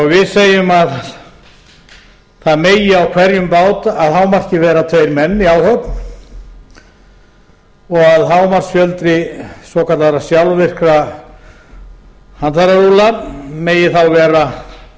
við segjum að það megi á hverjum bát að hámarki vera tveir menn í áhöfn og að hámarksfjöldi svokallaðra sjálfvirkra handfærarúlla megi þá vera